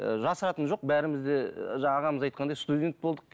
ы жасыратыны жоқ бәріміз де жаңағы ағамыз айтқандай студент болдық